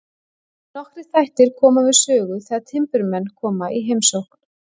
Nokkrir þættir koma við sögu þegar timburmenn koma í heimsókn.